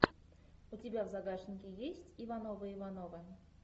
у тебя в загашнике есть ивановы ивановы